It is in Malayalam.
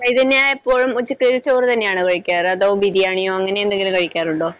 ചൈതന്യ ഇപ്പോഴും ഉച്ചയ്ക്ക് ചോറ് തന്നെയാണോ കഴിക്കാറ്? അതോ ബിരിയാണിയോ അങ്ങനെ എന്തെങ്കിലും കഴിക്കാറുണ്ടോ?